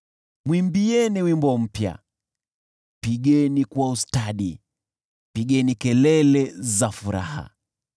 Mwimbieni wimbo mpya; pigeni kwa ustadi, na mpaze sauti za shangwe.